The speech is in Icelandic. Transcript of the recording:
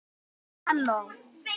Þinn Einar Sveinn.